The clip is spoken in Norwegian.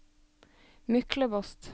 Myklebost